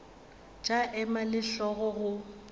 tša ema le hlogo go